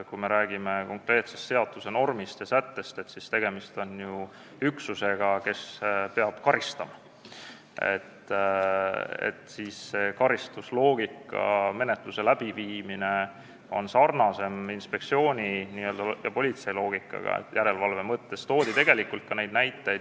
Kui me räägime konkreetsest seaduse normist ja sättest, siis on tegemist ju üksusega, kes peab karistama, ja siit see karistusloogika menetluse läbiviimisel, mis järelevalve mõttes sarnaneb politseitöö loogikaga.